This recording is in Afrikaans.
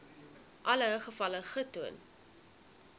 alle gevalle getoon